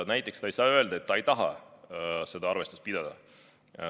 Näiteks ta ei saa öelda, et ta ei taha seda arvestust pidada.